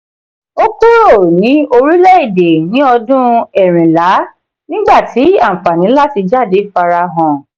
ó kúrò ní orílẹ̀-èdè ní ọdún ẹ̀rinlá nígbà tí àfààní láti jáde farahàn.